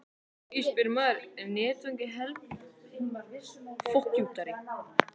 Því spyr maður: Er netvæðing heilbrigðiskerfisins það sem koma skal?